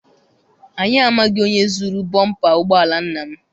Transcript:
Anyị amaghị onye zuru bọmpa ụgbọala nna m.